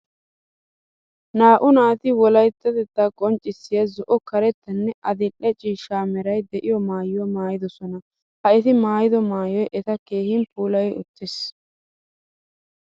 Naa'u naati wolayttatettaa qonccissiya zo'o karettanne adil'e ciishsha meray de'iyo maayuwaa maayidosona. Ha eti maayido maayoy eta keehin puulay uttis.